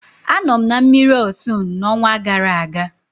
Anọ m na mmiri Ọsun n'ọnwa gara aga.